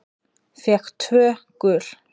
Fékk tvö gul.